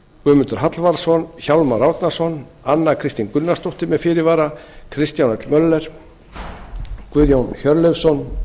guðmundur hallvarðsson hjálmar árnason anna kristín gunnarsdóttir með fyrirvara kristján l möller guðjón hjörleifsson